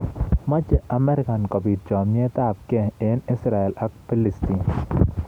Meche Amerika kobiit chamet ab gei eng Israel ak Palestina